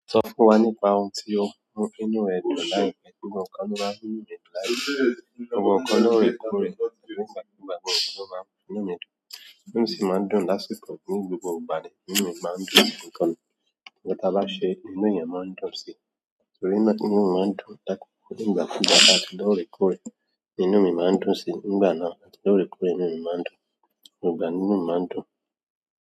Sọ fún wa nípa ohun tí ó mú inú ẹ dùn láìpẹ́ bí ohun kan ló máa ń mú inú ẹ dùn láìpẹ́. Òun kan ló rẹ́kọ̀rẹ́ òkìtì nípa bí ìgbà gbogbo ni ó máa ń mú inú mi dùn. Ò sì máa ń dùn lásìkò ní gbogbo ìgbà ni inú mi máa ń dùn nìkan. Nkan ta ba se, inú eeyan ma n dùn si. Torí náà inú mi máa dùn lásìkò nígbàkúùgbà tí àti loreekore, inú mi máa dùn sí i. Nígbà náà a ti loreekore, inú mi máa dùn. Gbogbo ìgbà ni inú mi ma n dùn.